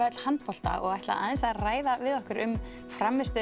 öll handbolta og ætla aðeins að ræða við okkur um